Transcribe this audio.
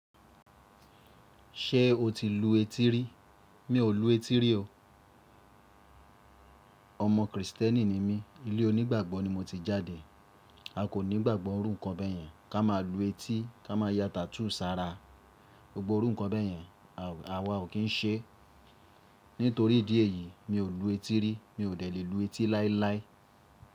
Ṣé o ti lu etí rí? Mi ò lu etí rí o. Ọmọ Kristẹni ni mí, ilé onígbàgbọ́ ni mo ti jáde. A kò ní gbàgbọ́ orúkọ ọbẹ̀ yẹn, ká máa lu etí, ká máa ya tattoo sára. Gbogbo orú nkọ ọbẹ̀ yẹn, àwa ò kín ṣe. Nítorí ìdí èyí, mi ò lu etí rí, mi ò lè lu etí láíláí.